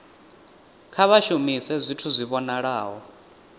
kha vha shumise zwithu zwi vhonalaho